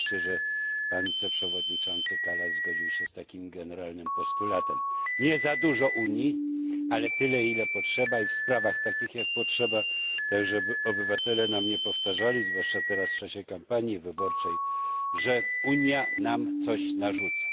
I wreszcie to, że pan wiceprzewodniczący Karas zgodził się z takim generalnym postulatem nie za dużo Unii, ale tyle, ile potrzeba i w sprawach takich, jak potrzeba, żeby obywatele nam nie powtarzali, zwłaszcza teraz w czasie kampanii wyborczej, że Unia nam coś narzuca.